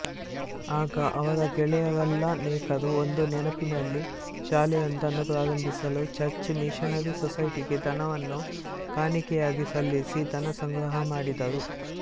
ಆಗ ಅವರಗೆಳೆಯರಲ್ಲನೇಕರು ಒಂದು ನೆನಪಿನಲ್ಲಿ ಶಾಲೆಯೊಂದನ್ನು ಪ್ರಾರಂಭಿಸಲು ಚರ್ಚ್ ಮಿಶನರಿ ಸೊಸೈಟಿಗೆ ಧನವನ್ನು ಕಾಣಿಕೆಯಾಗಿ ಸಲ್ಲಿಸಿ ಧನಸಂಗ್ರಹಮಾಡಿದರು